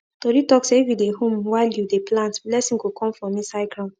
tori talk say if you dey hum while you dey plant blessing go come from inside ground